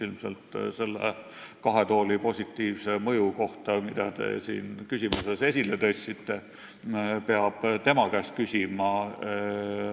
Ilmselt peab selle kahe tooli seaduse positiivse mõju kohta, mida te küsimuses esile tõstsite, tema käest küsima.